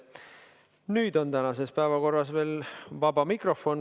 Nüüd on tänases päevakorras veel vaba mikrofon.